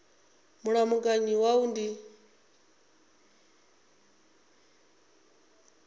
wa mulamukanyi ndi wa u